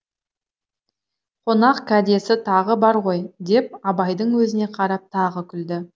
қонақ кәдесі тағы бар ғой деп абайдың өзіне қарап тағы күлді